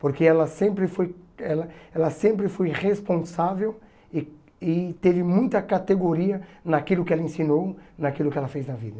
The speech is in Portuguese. Porque ela sempre foi ela ela sempre foi responsável e e teve muita categoria naquilo que ela ensinou, naquilo que ela fez na vida.